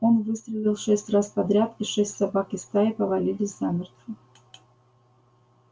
он выстрелил шесть раз подряд и шесть собак из стаи повалились замертво